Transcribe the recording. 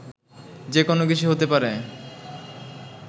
যে কোনো কিছু হতে পারে